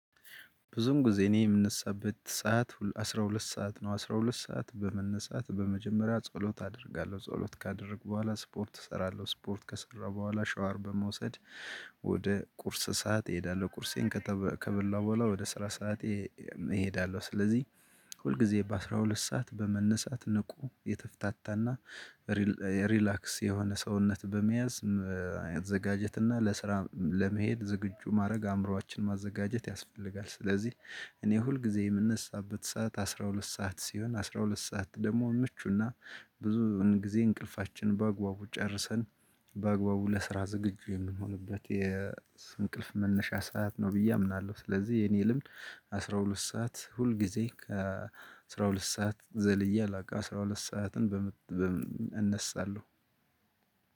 ብዙን ጊዜ እኔ የምንሰበት ሰዓት አስራ ሁለት ሰዓት ነው አስራ ሁለት ሰዓት በመነሳት በመጀመሪያ ጸሎት አደርጋለሁ ጸሎት ካደረግኩ በኋላ ስፖርት እሰራለሁ ስፖርት ከሰራሁ በኋላ ሻወር በመውሰድ ወደ ቁርስ ሰዓት እሄዳለሁ ቁርሴን ከበላው በኋላ ወደ ስራ ሰዓቴ እሄዳለሁ። ስለዚህ ሁል ጊዜ በአሥራ ሁለት ሰዓት በመነሳት ንቁ የተፍታታና ሪላክስ የሆነ ሰውነት በመያዝ ማዘጋጀትና ለስራ ለመሄድ ዝግጁ ማድረግ አእምሮአችን ማዘጋጀት ያስፈልጋል። ስለዚህ እኔ ሁል ጊዜ የምነሳበት ሰዓት አስራ ሁለት ሰዓት ሲሆን አስራ ሁለት ሰዓት ደግሞ ምቹና ብዙ ጊዜ እንቅልፋችን በአግባቡ ጨርሰን በአግባቡ ለስራ ዝግጁ የምንሆንበት የእንቅልፍ መነሻ ሰዓት ነው ብዬ አምናለሁ። ስለዚህ የኔ ልምድ አስራ ሁለት ሰዓት ሁል ጊዜ ከአስራ ሁለት ሰዓት ዘልዬ አላውቅም አስራ ሁለት ሰዓትን እነሳለሁ።